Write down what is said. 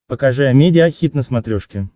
покажи амедиа хит на смотрешке